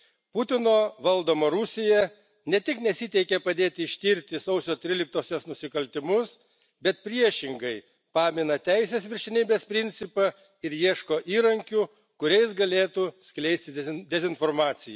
Putino valdoma Rusija ne tik nesiteikė padėti ištirti sausio 13 osios nusikaltimus, bet priešingai, pamina teisės viršenybės principą ir ieško įrankių, kuriais galėtų skleisti dezinformacija.